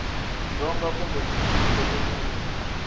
dzonga kumbe mixini loko u